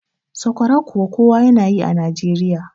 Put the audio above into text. sakwara kuwa kowa yana yi a Najeriya